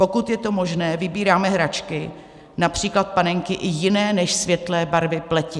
Pokud je to možné, vybíráme hračky, například panenky, i jiné než světlé barvy pleti.